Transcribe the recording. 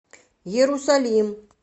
иерусалим